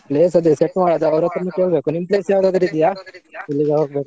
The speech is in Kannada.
Place ಅದೇ set ಮಾಡೋದು ಅವರತ್ರನೇ ಕೇಳ್ಬೇಕು, ನಿಮ್ place ಯಾವುದಾದ್ರೂ ಇದ್ಯಾ ?